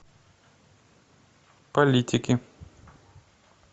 политики